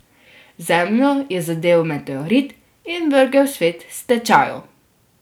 Zemljo je zadel meteorit in vrgel svet s tečajev.